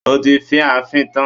O ti fì í fì tán!